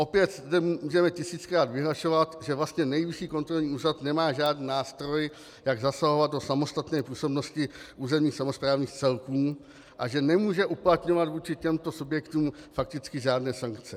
Opět zde můžeme tisíckrát vyhlašovat, že vlastně Nejvyšší kontrolní úřad nemá žádný nástroj, jak zasahovat do samostatné působnosti územních samosprávných celků, a že nemůže uplatňovat vůči těmto subjektům fakticky žádné sankce.